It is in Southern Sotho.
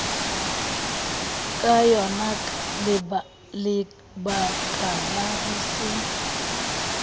ka yonaka lebakala ho se